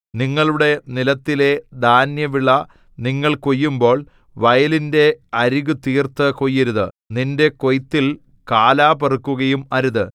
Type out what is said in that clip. നിങ്ങളുടെ നിലത്തിലെ ധാന്യവിള നിങ്ങൾ കൊയ്യുമ്പോൾ വയലിന്റെ അരികു തീർത്തു കൊയ്യരുത് നിന്റെ കൊയ്ത്തിൽ കാലാ പെറുക്കുകയും അരുത്